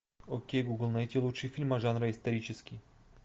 окей гугл найти лучшие фильмы жанра исторический